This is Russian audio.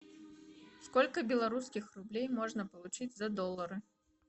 сколько белорусских рублей можно получить за доллары